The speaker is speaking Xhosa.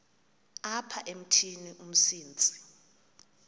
apha emithini umsintsi